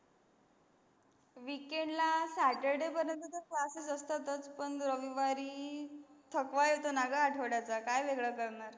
weekend ला Saturday पर्यत classes असतातच, पन रविवार थकवा येतो ना गं आठवड्याचा काय वेगळं करणार.